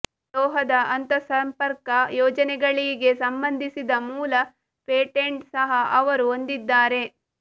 ಲೋಹದ ಅಂತರ್ಸಂಪರ್ಕ ಯೋಜನೆಗಳಿಗೆ ಸಂಬಂಧಿಸಿದ ಮೂಲ ಪೇಟೆಂಟ್ ಸಹ ಅವರು ಹೊಂದಿದ್ದಾರೆ